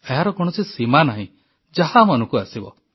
ଏହାର କୌଣସି ସୀମା ନାହିଁ ଯାହା ମନକୁ ଆସିବ